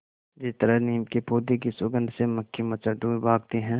जिस तरह नीम के पौधे की सुगंध से मक्खी मच्छर दूर भागते हैं